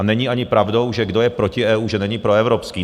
A není ani pravdou, že kdo je proti EU, že není proevropský.